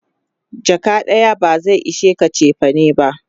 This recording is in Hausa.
jaka ɗaya ba zai ishe ka chefane ba